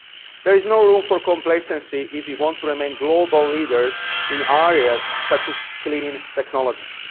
There is no room for complacency if we want to remain global leaders in areas such as clean technologies.